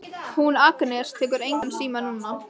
Hún Agnes tekur engan síma núna.